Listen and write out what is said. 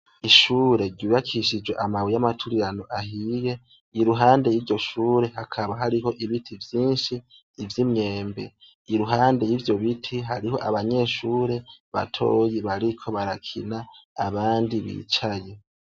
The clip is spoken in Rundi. Ishure ryubakishije amabuye yamaturirano ahiye iruhande yiryoshure hakaba hariho ibiti vyinshi ivyimyembe iruhande yivyobiti hariho abanyeshure batoya bariko barakina abandi bicaye